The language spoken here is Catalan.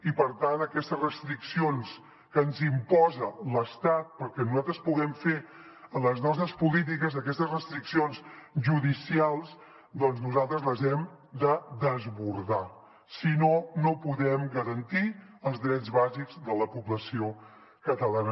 i per tant aquestes restriccions que ens imposa l’estat perquè nosaltres puguem fer les nostres polítiques aquestes restriccions judicials doncs nosaltres les hem de desbordar si no no podem garantir els drets bàsics de la població catalana